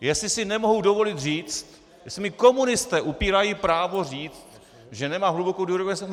Jestli si nemohu dovolit říct, jestli mi komunisté upírají právo říct, že nemám hlubokou důvěru v OSN...